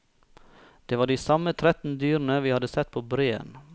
Det var de samme tretten dyrene vi hadde sett på breen.